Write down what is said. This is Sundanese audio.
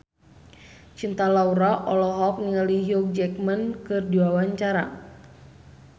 Cinta Laura olohok ningali Hugh Jackman keur diwawancara